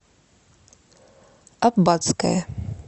аббатское